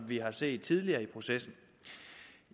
vi har set tidligere i processen